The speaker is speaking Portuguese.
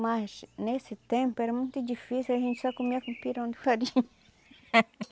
Mas nesse tempo era muito difícil, a gente só comia com pirão de farinha.